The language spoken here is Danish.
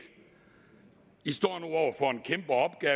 i står